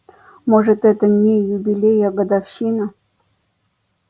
может это не юбилей а годовщина